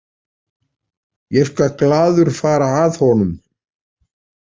Ég skal glaður fara að honum.